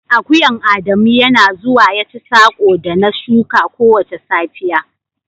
Akuyan Adamu Yana zuwa ya ci sako da na shuka kowace safiya.